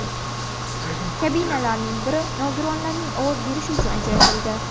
Kabinalarning biri nogironlarning ovoz berishi uchun ajratildi.